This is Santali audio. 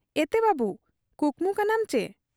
ᱮᱛᱮ ᱵᱟᱹᱵᱩ ᱠᱩᱠᱢᱩ ᱠᱟᱱᱟᱢ ᱪᱤ ?